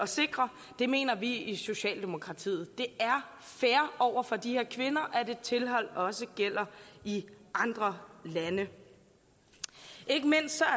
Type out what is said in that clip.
sikre det mener vi i socialdemokratiet det er fair over for de her kvinder at et tilhold også gælder i andre lande ikke mindst